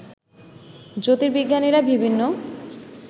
জ্যোতির্বিজ্ঞানীরা বিভিন্ন